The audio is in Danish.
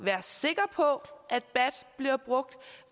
være sikre på at bat bliver brugt